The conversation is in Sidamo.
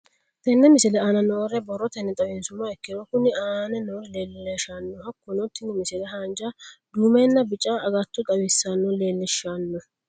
Tenne misile aana noore borrotenni xawisummoha ikirro kunni aane noore leelishano. Hakunno tinni misile haanja duumenna bicca aggato xawisse leelishshano.